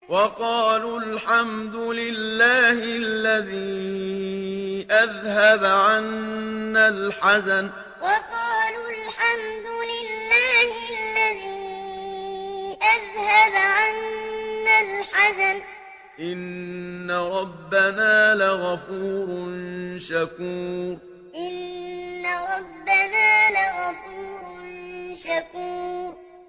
وَقَالُوا الْحَمْدُ لِلَّهِ الَّذِي أَذْهَبَ عَنَّا الْحَزَنَ ۖ إِنَّ رَبَّنَا لَغَفُورٌ شَكُورٌ وَقَالُوا الْحَمْدُ لِلَّهِ الَّذِي أَذْهَبَ عَنَّا الْحَزَنَ ۖ إِنَّ رَبَّنَا لَغَفُورٌ شَكُورٌ